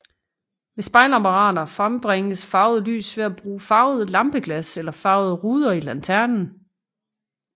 Ved spejlapparater frembringes farvet lys ved at bruge farvede lampeglas eller farvede ruder i lanternen